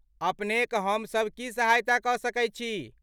अपने क हम सब की सहायता क सकैत छी ?